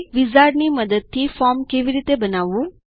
વિઝાર્ડની મદદથી ફોર્મ કેવી રીતે બનાવવું